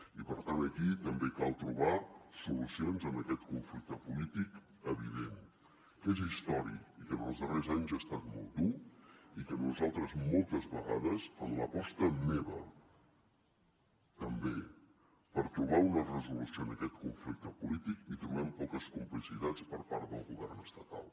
i per tant aquí també cal trobar solucions a aquest conflicte polític evident que és històric i que en els darrers anys ha estat molt dur i que nosaltres moltes vegades en l’aposta meva també per trobar una resolució a aquest conflicte polític hi trobem poques complicitats per part del govern estatal